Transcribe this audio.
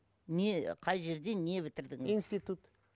не қай жерде не бітірдіңіз институт